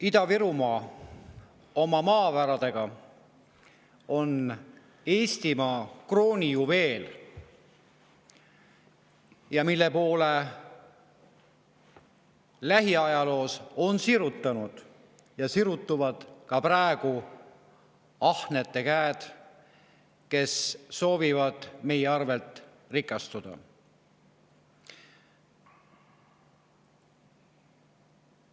Ida-Virumaa oma maavaradega on Eestimaa kroonijuveel, mille poole on sirutunud lähiajaloos ja sirutuvad ka praegu ahnete käed, kes soovivad meie arvel rikastuda.